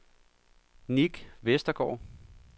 Nick Westergaard